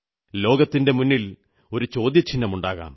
ലോകത്തിന്റെ മുന്നിൽ ഒരു ചോദ്യചിഹ്നമുണ്ടാകാം